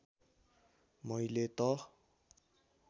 मैले त